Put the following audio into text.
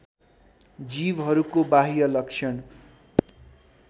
जीवहरूको बाह्य लक्षण